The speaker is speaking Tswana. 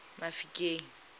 mafikeng